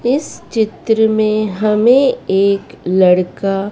इस चित्र में हमें एक लड़का--